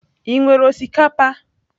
Ị nwere osikapa?